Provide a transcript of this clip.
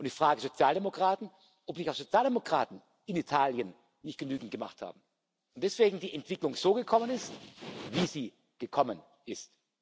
Und ich frage die Sozialdemokraten, ob nicht auch die Sozialdemokraten in Italien nicht genügend gemacht haben und deswegen die Entwicklung so gekommen ist, wie sie gekommen ist?